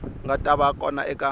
nga ta va kona eka